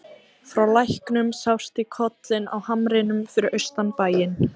Frá læknum sást í kollinn á hamrinum fyrir austan bæinn.